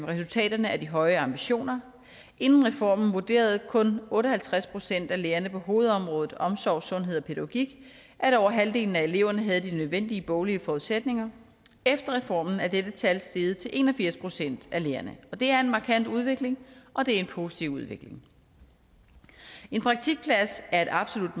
resultaterne af de høje ambitioner inden reformen vurderede kun otte og halvtreds procent af lærerne på hovedområdet omsorg sundhed og pædagogik at over halvdelen af eleverne havde de nødvendige boglige forudsætninger efter reformen er dette tal steget til en og firs procent af lærerne det er en markant udvikling og det er en positiv udvikling en praktikplads er et absolut